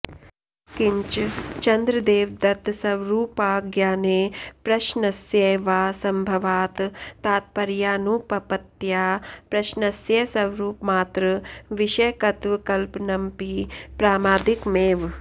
किञ्च चन्द्रदेवदत्तस्वरुपाज्ञाने प्रश्नस्यैवासम्भवात् तात्पर्यानुपपत्त्या प्रश्नस्य स्वरुपमात्र विषयकत्वकल्पनमपि प्रामादिकमेव